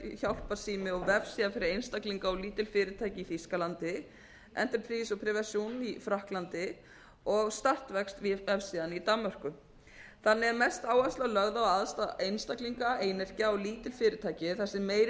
hjálparsími og vefsíða fyrir einstaklinga og lítil fyrirtæki í þýskalandi entreprise prévention í frakklandi og startvækst vefsíðan í danmörku þannig er mest áhersla lögð á að aðstoða einstaklinga og lítil fyrirtæki þar sem meiri